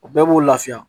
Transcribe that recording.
O bɛɛ b'o lafiya